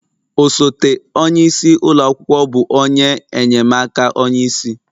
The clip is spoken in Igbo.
Osote onye isi ụlọ akwụkwọ bụ onye enye'm aka onye isi